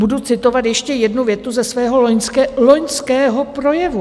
Budu citovat ještě jednu větu ze svého loňského projevu.